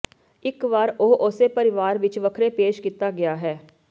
ਇੱਕ ਵਾਰ ਉਹ ਉਸੇ ਪਰਿਵਾਰ ਵਿੱਚ ਵੱਖਰੇ ਪੇਸ਼ ਕੀਤਾ ਗਿਆ ਹੈ